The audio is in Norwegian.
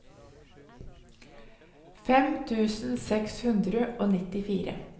fem tusen seks hundre og nittifire